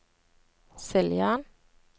Siljan